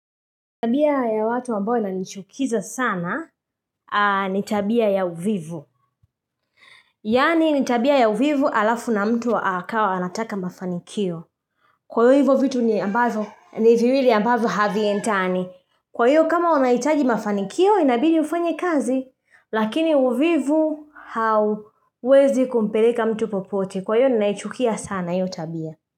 Tabia ya watu ambayo inanichukiza sana, ni tabia ya uvivu. Yaani, ni tabia ya uvivu alafu na mtu akawa anataka mafanikio. Kwa hivo vitu ni ambavyo, ni viwili ambavyo haviendani. Kwa hiyo kama unahitaji mafanikio, inabidi ufanye kazi. Lakini uvivu hauwezi kumpeleka mtu popote. Kwa hiyo ninaichukia sana hiyo tabia.